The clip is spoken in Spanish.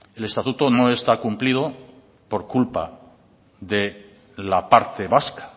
el estatuto no está cumplido por culpa de la parte vasca